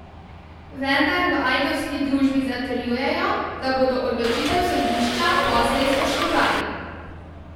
Vendar v ajdovski družbi zatrjujejo, da bodo odločitev sodišča poslej spoštovali.